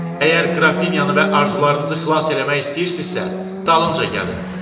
Əgər qrafinyanı və arzularınızı xilas eləmək istəyirsinizsə, dalımca gəlin.